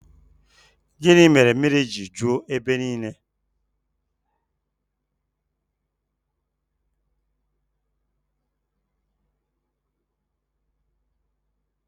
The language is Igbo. Gịnị mèrè mmiri ji ju ébé ńiilé?